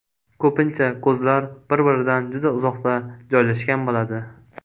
Ko‘pincha ko‘zlar bir-biridan juda uzoqda joylashgan bo‘ladi.